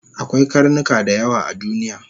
Akwai karnuka dayawa a duniya